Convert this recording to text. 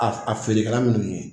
A a feerekɛla minnu ye